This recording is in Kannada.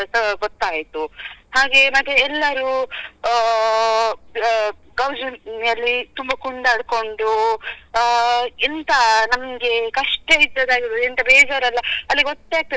ಅಹ್ ಗೊತ್ತಾಯ್ತು ಹಾಗೆ ಮತ್ತೆ ಎಲ್ಲರು ಆ ಗೌಜಿ ಅಲ್ಲಿ ತುಂಬ ಕುಣಿದಾಡಿಕೊಂಡು ಆ ಎಂತ ನಮ್ಗೆ ಕಷ್ಟ ಇದ್ದದೆಲ್ಲಾ ಎಂತ ಬೇಜಾರ್ ಎಲ್ಲ ಅಲ್ಲಿ ಗೊತ್ತೇ ಆಗ್ತಾ ಇರ್ಲಿಲ್ಲ.